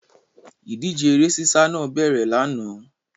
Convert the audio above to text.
Ìdíje eré sísá náà bẹ̀rẹ̀ lánàá.